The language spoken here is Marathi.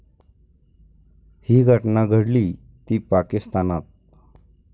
ही घटना घडलीय ती पाकिस्तानात.